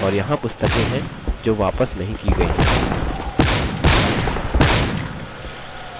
और यहाँ पुस्तकें हैं जो वापस नहीं की गई हैं